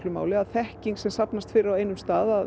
máli að þekking sem safnast fyrir á einum stað